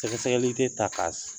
Sɛgɛsɛgɛli tɛ ta ka